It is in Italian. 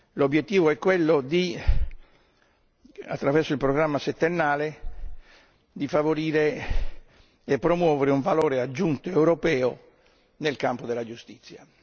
L'obiettivo, attraverso il programma settennale, è quello di favorire e promuovere un valore aggiunto europeo nel campo della giustizia.